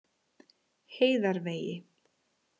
Heiðarvegi